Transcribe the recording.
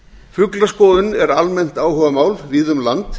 fuglaskoðun er almennt áhugamál víða um land